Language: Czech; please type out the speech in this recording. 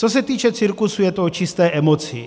Co se týče cirkusu, je to o čisté emoci.